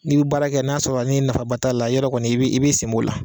N'i bɛ baara kɛ n'a sɔrɔ ni nafaba t'a la yarɔ kɔni i bi i bi sen b'o la.